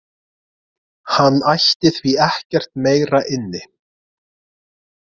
Hann ætti því ekkert meira inni